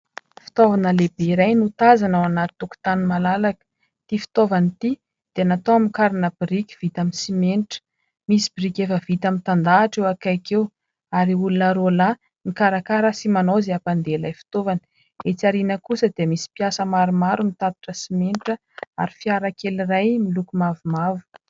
Fitaovana lehibe iray no tazana ao anaty tokontany malalaka. Ity fitaovana ity dia natao hamokarana biriky vita amin'ny simenitra. Misy biriky efa vita mitandahatra eo ankaiky eo, ary olona roa lahy mikarakara sy manao izay hampandeha ilay fitaovana. Etsy aoriana kosa dia misy mpiasa maromaro mitatitra simenitra, ary fiara kely iray miloko mavomavo.